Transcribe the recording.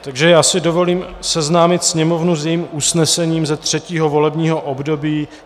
Takže já si dovolím seznámit Sněmovnu s jejím usnesením ze třetího volebního období.